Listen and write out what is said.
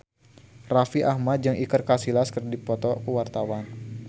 Raffi Ahmad jeung Iker Casillas keur dipoto ku wartawan